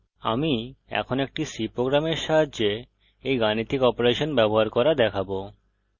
আমি এখন একটি c প্রোগ্রামের সাহায্যে এই গাণিতিক অপারেশন ব্যবহার করা দেখাবো